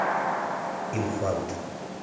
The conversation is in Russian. инфант